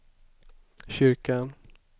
kyrkan